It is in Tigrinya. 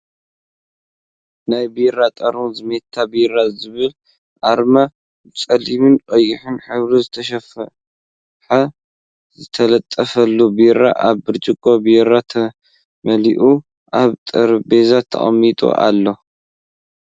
ናይ ቢራ ጥርሙዝ ሜታ ቢራ ዝብል ኣርማብፀሊምን ቀይሕን ሕብሪ ዝተፃሓፈ ዝተለጠፈሉ ቢራ ኣብ ብርጭቆ ቢራ ተመሊእዎ ኣብ ጥረቤዛ ተቀሚጡ ኣሎ ።